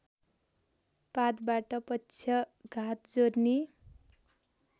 पातबाट पक्षघात जोर्नी